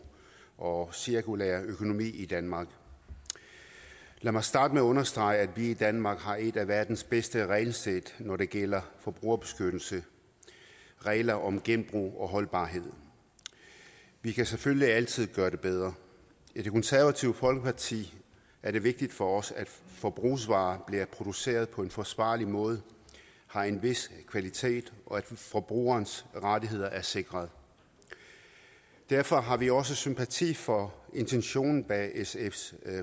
og cirkulær økonomi i danmark lad mig starte med at understrege at vi i danmark har et af verdens bedste regelsæt når det gælder forbrugerbeskyttelse regler om genbrug og holdbarhed vi kan selvfølgelig altid gøre det bedre i det konservative folkeparti er det vigtigt for os at forbrugsvarer bliver produceret på en forsvarlig måde har en vis kvalitet og at forbrugerens rettigheder er sikret derfor har vi også sympati for intentionen bag sfs